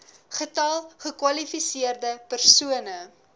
getal gekwalifiseerde persone